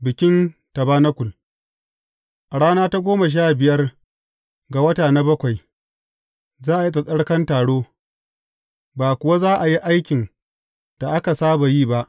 Bikin tabanakul A rana ta goma sha biyar ga wata na bakwai, za a yi tsattsarkan taro, ba kuwa za a yi aikin da aka saba yi ba.